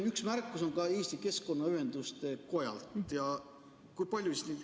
Üks märkus on ka Eesti Keskkonnaühenduste Kojalt.